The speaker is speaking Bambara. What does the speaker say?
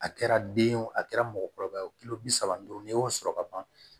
A kɛra den ye wo a kɛra mɔgɔkɔrɔba wo bi saba duuru n'i y'o sɔrɔ ka ban